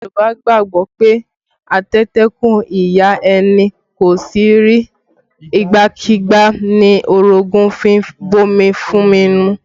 Yorùbá gbàgbọ́ pé, ateteku ìyá ẹni kò ṣe rí, igbákígbá ni orogun fi ń bomi fún ni mu